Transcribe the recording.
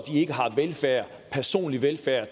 velfærd personlig velfærd